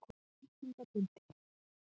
Áttunda bindi.